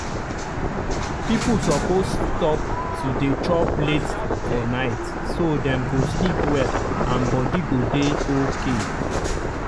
people suppose stop to dey chop late for night so dem go sleep well and body go dey okay.